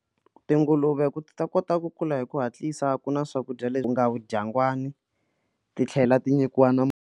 Tinguluve ku ta kota ku kula hi ku hatlisa ku na swakudya leswi nga vodyangwani titlhela ti nyikiwa na.